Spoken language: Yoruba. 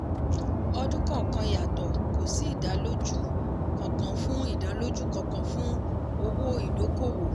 ọdún kọọkan yàtọ̀ kò sí ìdálójú kankan fún ìdálójú kankan fún owó ìdókòwò.